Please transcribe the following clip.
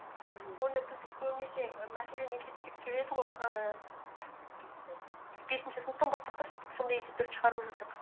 мхм оны біз көбінесе і мәселені есептеп келеді ғой ііі бесінші сыныптан бастап па сөйтіп сондай есептерді шығарып жүрдік